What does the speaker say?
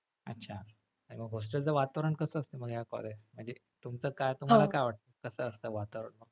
अच्छा मग hostel च वातावरण कस असत मग या college म्हणजे तुमचं काय तुम्हाला काय वाटत कस असत वातावरण?